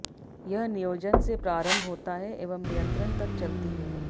यह नियोजन से प्रारंभ होता है एवं नियंत्रण तक चलती है